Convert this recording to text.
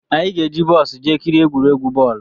Anyị ga-eji bọs jee kirie egwuregwu bọọlụ